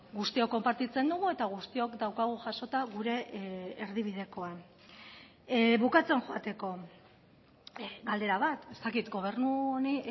guztiok konpartitzen dugu eta guztiok daukagu jasota gure erdibidekoan bukatzen joateko galdera bat ez dakit gobernu honi